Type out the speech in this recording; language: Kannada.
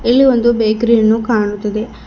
ಇಲ್ಲಿ ಒಂದು ಬೇಕರಿ ಯನ್ನು ಕಾಣುತ್ತದೆ.